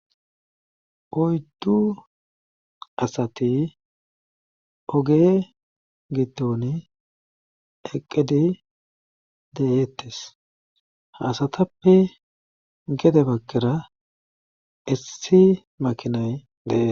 Oyddu asati oge giton eqqidi de7eettes haasatappe gede bakkera issi makinay deee